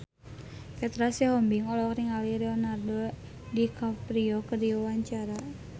Petra Sihombing olohok ningali Leonardo DiCaprio keur diwawancara